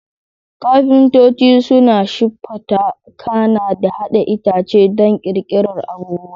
Kafintoci suna siffata, kana da haɗa itace don ƙirƙirar abubuwa.